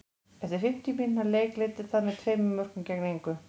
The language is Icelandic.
Eftir fimmtíu mínútna leik leiddi það með tveimur mörkum gegn engu.